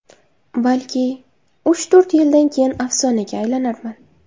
Balki, uch-to‘rt yildan keyin afsonaga aylanarman.